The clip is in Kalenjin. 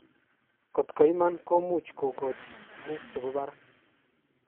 Kotkoiman komuch kokochi tuguk chebo barak.